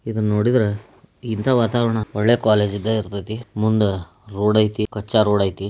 ಇದು ನುಡಿದರೇ ಇಂತಹಾ ವಾತವರಣ ಒಳ್ಳೆ ಕಾಲೇಜಾ ಇದೆ ಇರ್ತದೆ. ಮುಂದ ರೋಡ್ ಆಯಿತೇ ಕಚ್ಚಾ ರೋಡ್ ಆಯಿತೇ.